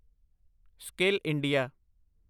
skill India